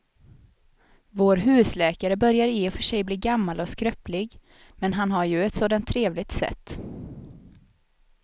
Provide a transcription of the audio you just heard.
Vår husläkare börjar i och för sig bli gammal och skröplig, men han har ju ett sådant trevligt sätt!